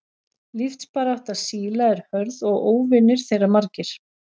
Lífsbarátta síla er hörð og óvinir þeirra margir.